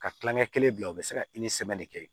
Ka kilankɛ kelen bila u be se ka de kɛ